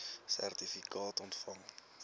sertifikaat ontvang